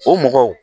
O mɔgɔw